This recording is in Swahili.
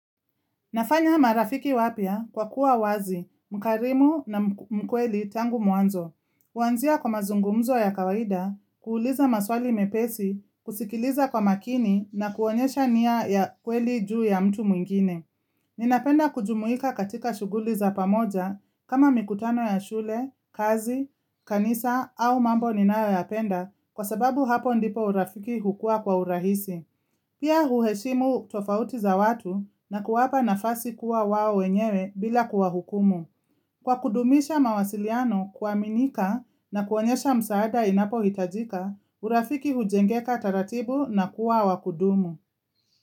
Nafanya marafiki wapya kwa kuwa wazi, mkarimu na mkweli tangu mwanzo. Kuanzia kwa mazungumzo ya kawaida, kuuliza maswali mepesi, kusikiliza kwa makini na kuonyesha nia ya kweli juu ya mtu mwingine. Ninapenda kujumuika katika shughuli za pamoja kama mikutano ya shule, kazi, kanisa au mambo ninayoyapenda kwa sababu hapo ndipo urafiki hukua kwa urahisi. Pia huheshimu tofauti za watu na kuwapa nafasi kuwa wao wenyewe bila kuwa hukumu. Kwa kudumisha mawasiliano kuaminika na kuonyesha msaada inapohitajika, urafiki hujengeka taratibu na kuwa wa kudumu.